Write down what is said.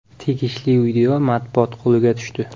Tegishli video matbuot qo‘liga tushdi.